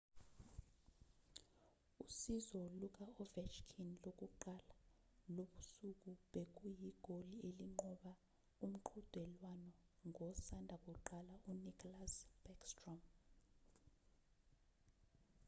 usizo luka-ovechkin lokuqala lobusuku bekuyigoli elinqoba umqhudelwano ngosanda kuqala u-nicklas backstrom